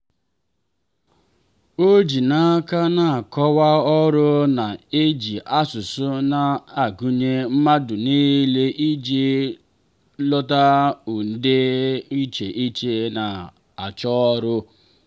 o ji n'aka na nkọwa ọrụ na-eji asụsụ na-agụnye mmadụ nile iji dọta ndi dị iche iche na-achọ ọrụ.